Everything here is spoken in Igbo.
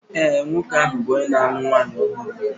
ee, nwoke ahụ bụ onye na-alụ nwanyị ọhụrụ